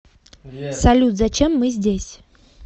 салют зачем мы здесь